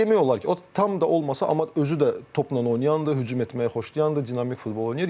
Demək olar ki, o tam da olmasa, amma özü də topla oynayandır, hücum etməyi xoşlayandır, dinamik futbol oynayır.